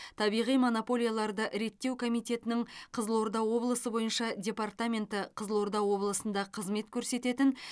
табиғи монополияларды реттеу комитетінің қызылорда облысы бойынша департаменті қызылорда облысында қызмет көрсететін